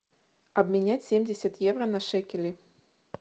обменять семьдесят евро на шекели